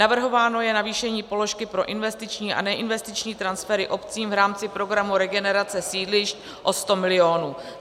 Navrhováno je navýšení položky pro investiční a neinvestiční transfery obcím v rámci programu Regenerace sídlišť o 100 milionů.